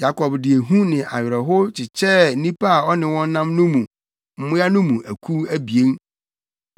Yakob de ehu ne awerɛhow kyekyɛɛ nnipa a ɔne wɔn nam no ne mmoa no mu akuw abien.